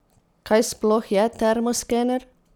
Kaj sploh je termo skener?